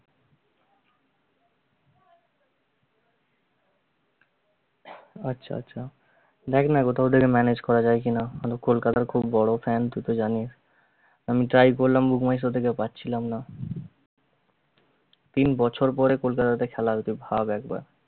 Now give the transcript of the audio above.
আচ্ছা আচ্ছা। দেখনা কোথাও থেকে manage করা যায় কিনা, আমি কলকাতার খুব বড় fan তুই তো জানিস। আমি try করলাম book my show থেকে পাচ্ছিলাম না তিন বছর পরে কোলকাতাতে খেলা হবে তুই ভাব একবার